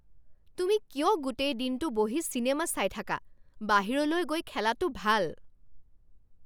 তুমি কিয় গোটেই দিনটো বহি চিনেমা চাই থাকা? বাহিৰলৈ গৈ খেলাটো ভাল!